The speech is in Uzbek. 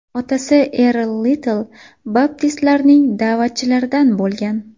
Otasi Erl Litl baptistlarning da’vatchilaridan bo‘lgan.